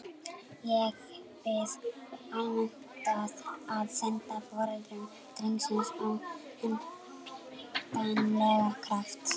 Og ég bið almættið að senda foreldrum drengsins óendanlegan kraft.